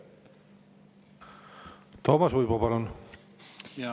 Toomas Uibo, palun!